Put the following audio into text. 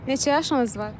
Neçə yaşınız var?